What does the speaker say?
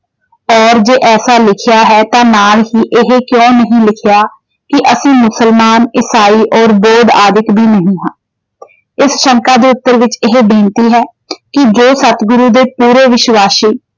ਅਤੇ ਜੇ ਐਸਾ ਲਿਖਿਆ ਹੈ ਤਾਂ ਨਾਲ ਹੀ ਇਹ ਕਿਉਂ ਨਹੀਂ ਲਿਖਿਆ ਕਿ ਅਸੀਂ ਮੁਸਲਮਾਨ, ਇਸਾਈ ਔਰ ਬੋਧ ਆਦਿਕ ਵੀ ਨਹੀਂ ਹਾਂ। ਇਸ ਸ਼ੰਕਾ ਦੇ ਉੱਤਰ ਵਿੱਚ ਇਹ ਬੇਨਤੀ ਹੈ ਜੋ ਕਿ ਸਤਿਗੁਰੂ ਦੇ ਪੂਰੇ ਵਿਸ਼ਵਾਸੀ ।